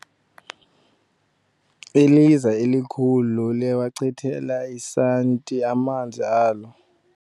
Iliza elikhulu liwachitele esanti amanzi alo.